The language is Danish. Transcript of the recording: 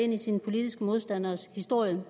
ind i sine politiske modstanderes historie